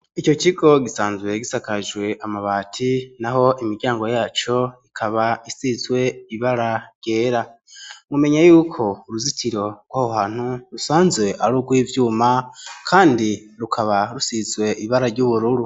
Ico kigo gisanzwe gisakajwe amabati naho imiryango yaco ikaba isizwe ibara ryera, mumenye yuko uruzitiro rwaho hantu rusanzwe ari urw'ivyuma kandi rukaba rusizwe ibara ry'ubururu.